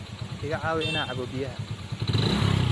Iga caawi inaan cabbo biyaha